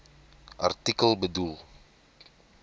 artikel bedoel